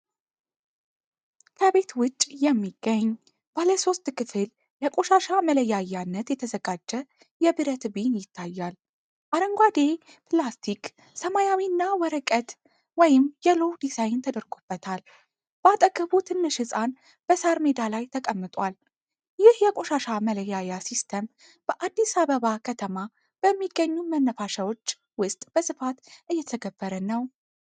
ከቤት ውጭ የሚገኝ፣ ባለ ሶስት ክፍል ለቆሻሻ መለያያነት የተዘጋጀ የብረት ቢን ይታያል። አረንጓዴ፣ ፕላስቲክ ሰማያዊ እና ወረቀት (የሎው) ዲዛይን ተደርጎበታል። በአጠገቡ ትንሽ ህጻን በሳር ሜዳ ላይ ተቀምጧል። ይህ የቆሻሻ መለያያ ሲስተም በአዲስ አበባ ከተማ በሚገኙ መናፈሻዎች ውስጥ በስፋት እየተተገበረ ነው?